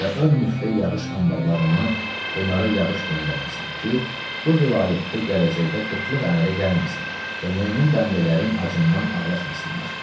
Və o müftə yağış anbarlarından bunlara yağış göndərmisən ki, qoy vilayətdə gələcəkdə qıtlıq əmələ gəlməsin və mömin bəndələrin acından ağlaşmasınlar.